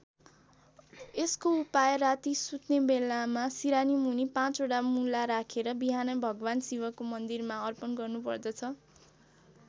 यसको उपाय राति सुत्ने बेलामा सिरानीमुनि पाँचवटा मुला राखेर बिहानै भगवान् शिवको मन्दिरमा अर्पण गर्नुपर्दछ।